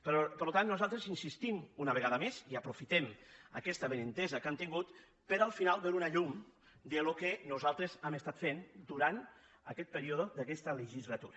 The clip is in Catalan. per tant nosaltres insistim una vegada més i aprofitem aquesta avinentesa que hem tingut per al final veure una llum del que nosaltres hem estat fent durant aquest període d’aquesta legislatura